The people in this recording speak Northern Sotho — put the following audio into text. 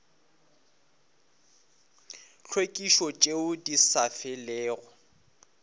tlhwekišo tšeo di sa felego